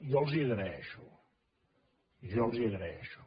jo els ho agraeixo jo els ho agraeixo